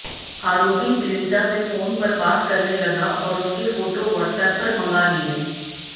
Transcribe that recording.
आरोपी पीड़िता से फोन पर बात करने लगा और उसके फोटो व्हाट्सएप पर मंगा लिए